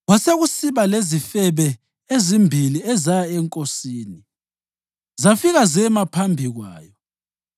Kwasekusiba lezifebe ezimbili ezaya enkosini zafika zema phambi kwayo.